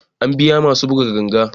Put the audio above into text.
An biya masu buga ganga